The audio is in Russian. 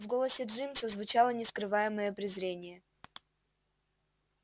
в голосе джимса звучало нескрываемое презрение